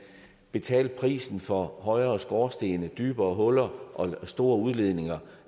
betalte prisen for højere skorstene dybere huller og store udledninger